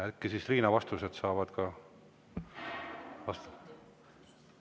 Äkki siis Riina saavad ka vastatud.